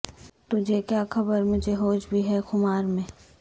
تجھے کیا خبر مجھے ہوش بھی ہے خمار میں